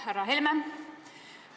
Härra Helme!